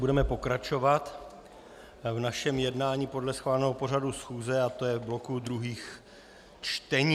Budeme pokračovat v našem jednání podle schváleného pořadu schůze, a to je v bloku druhých čtení.